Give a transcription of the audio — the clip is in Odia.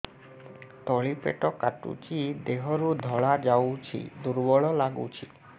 ତଳି ପେଟ କାଟୁଚି ଦେହରୁ ଧଳା ଯାଉଛି ଦୁର୍ବଳ ଲାଗୁଛି